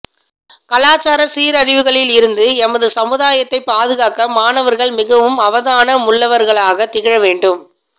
கலாச்சார சீரழிவுகளில் இருந்து எமது சமுதாயத்தை பாதுகாக்க மாணவர்கள் மிகவும் அவதானமுள்ளவர்களாக திகழவேண்டும்